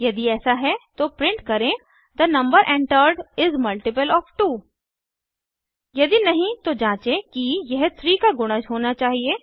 यदि ऐसा है तो प्रिंट करें the number entered is uh multiple of 2 यदि नहीं तो जाचें कि यह 3 का गुणज होना चाहिए